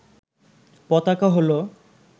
পতাকা হল